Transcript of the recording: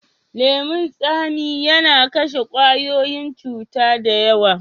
Leman tsami yana kashe kwayoyin cuta da yawa.